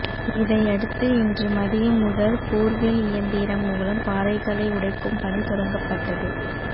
இதையடுத்து இன்று மதியம் முதல் போர்வெல் இயந்திரம் மூலம் பாறைகளை உடைக்கும் பணி தொடங்கப்பட்டது